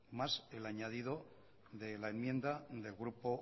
más el añadido de la enmienda del grupo